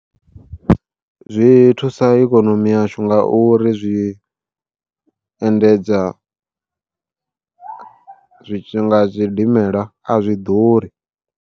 Zwi thusa ikonomi yashu nga uri zwi endedza, zwithu nga zwidimela a zwi ḓuri.